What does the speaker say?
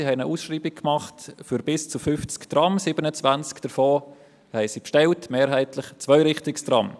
Das Unternehmen nahm eine Ausschreibung für bis zu 50 Trams vor, 27 davon wurden bestellt – mehrheitlich Zweirichtungstrams.